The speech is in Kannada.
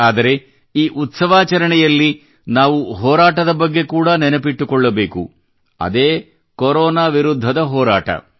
ಆದರೆ ಈ ಉತ್ಸವಾಚರಣೆಯಲ್ಲಿ ನಾವು ಹೋರಾಟದ ಬಗ್ಗೆ ಕೂಡಾ ನೆನಪಿಟ್ಟುಕೊಳ್ಳಬೇಕು ಅದೇ ಕೊರೋನಾ ವಿರುದ್ಧದ ಹೋರಾಟ